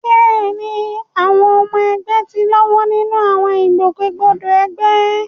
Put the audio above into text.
Bẹ́ẹ̀ni, àwọn ọmọ ẹgbẹ́ ti ń lọ́wọ́ nínú àwọn ìgbòkègbodò ẹgbẹ́.